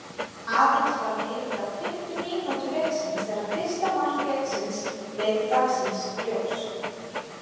Aðeins var liðið á fimmtu mínútu leiksins þegar fyrsta mark leiksins leit dagsins ljós.